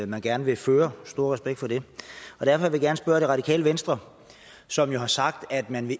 man gerne vil føre stor respekt for det og derfor vil jeg gerne spørge det radikale venstre som jo har sagt at man